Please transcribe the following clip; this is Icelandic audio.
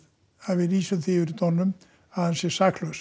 að við lýsum því yfir í dómnum að hann sé saklaus